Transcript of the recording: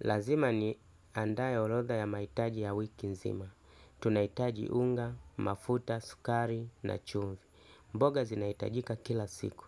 Lazima niandae orodha ya mahitaji ya wiki nzima. Tunahitaji unga, mafuta, sukari na chumvi. Mboga zinaitajika kila siku.